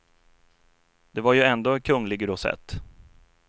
Det var ju ändå en kunglig rosett.